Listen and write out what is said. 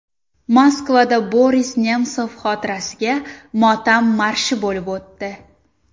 Moskvada Boris Nemsov xotirasiga motam marshi bo‘lib o‘tdi.